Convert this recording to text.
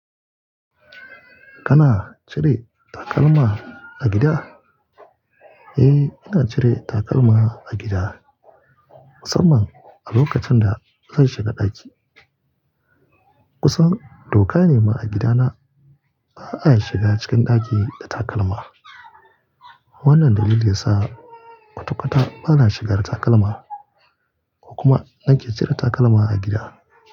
Kana cire takalma a gida? Eh, ina cire takalma a gida, musamman a lokacin da zan shiga ɗaki. Kusan doka ne ma a gidana ba'a shiga cikin ɗaki da takalma. Wannan dalili yasa kwatakwata bana shigar da takalma ko kuma nake cire takalma a gida.